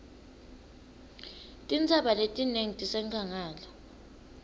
tintsaba letinengi tisenkhangala